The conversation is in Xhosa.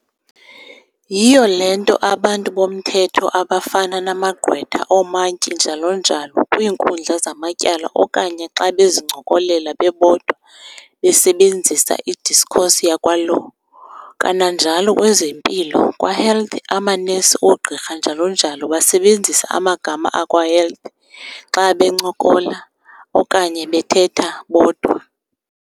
Yhiyo le nto abantu bomthetho abafana namagqwetha, oomantyi, njalo najlo kwiinkundla zamatyala okanye xa bezincokolela bebodwa besebenzisa i-"discourse" yakwa-"Law". Kananjalo, kwezempilo kwa-"Health" amanesi, oogqirha, njalo njalo, basebenzisa amagama akwa-"Health" xa bencokola okanye bethetha bodwa.